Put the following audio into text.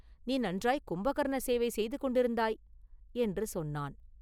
நீ நன்றாய்க் கும்பகர்ண சேவை செய்து கொண்டிருந்தாய்!” என்று சொன்னான்.